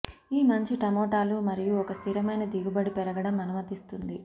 ఈ మంచి టమోటాలు మరియు ఒక స్థిరమైన దిగుబడి పెరగడం అనుమతిస్తుంది